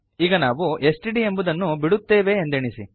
ಈಗ ನಾವು ಎಸ್ಟಿಡಿ ಎಂಬುದನ್ನು ಬಿಡುತ್ತೇವೆ ಎಂದೆಣಿಸಿ